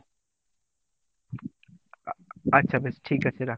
আচ্ছা বেশ ঠিক আছে রাখ।